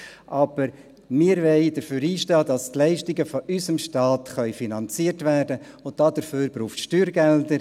Aber wir wollen dafür einstehen, dass die Leistungen von unserem Staat finanziert werden können, und dazu braucht es Steuergelder.